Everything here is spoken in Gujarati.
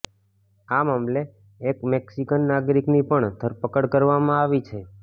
આ મામલે એક મેક્સિકન નાગરિકની પણ ધરપકડ કરવામાં આવી છે